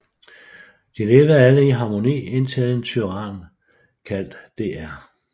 De levede alle i harmoni indtil en tyran kaldt Dr